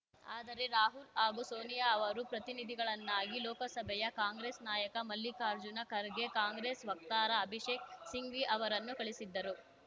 ಆದರೆ ರಾಹುಲ್‌ ಹಾಗೂ ಸೋನಿಯಾ ಅವರು ಪ್ರತಿನಿಧಿಗಳನ್ನಾಗಿ ಲೋಕಸಭೆಯ ಕಾಂಗ್ರೆಸ್‌ ನಾಯಕ ಮಲ್ಲಿಕಾರ್ಜುನ ಖರ್ಗೆ ಕಾಂಗ್ರೆಸ್‌ ವಕ್ತಾರ ಅಭಿಷೇಕ್‌ ಸಿಂಘ್ವಿ ಅವರನ್ನು ಕಳಿಸಿದ್ದರು